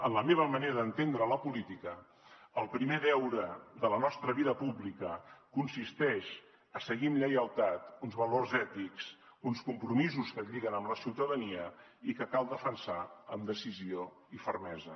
en la meva manera d’entendre la política el primer deure de la nostra vida pública consisteix a seguir amb lleialtat uns valors ètics uns compromisos que et lliguen amb la ciutadania i que cal defensar amb decisió i fermesa